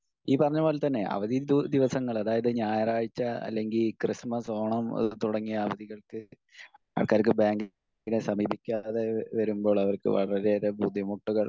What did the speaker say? speaker 1 ഈ പറഞ്ഞ പോലെ തന്നെ അവധി ദിവസങ്ങള് അതായത് ഞായറാഴ്ച അല്ലെങ്കിൽ ക്രിസ്മസ്, ഓണം തുടങ്ങിയ അവധികൾക്ക് ആൾക്കാർക്ക് ബാങ്കിനെ സമീപിക്കാതെ വരുമ്പോൾ അവർക്ക് വളരെയേറെ ബുദ്ധിമുട്ടുകൾ